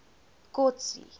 kotsi